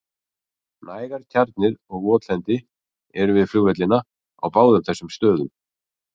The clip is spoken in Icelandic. Nægar tjarnir og votlendi eru við flugvellina á báðum þessum stöðum.